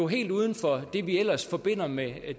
helt uden for det vi ellers forbinder med